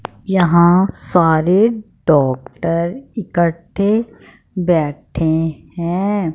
यहां सारे डॉक्टर इकट्ठे बैठे हैं।